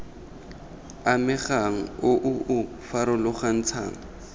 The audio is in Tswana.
amegang o o o farologantshang